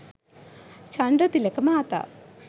චන්ද්‍රතිලක මහතා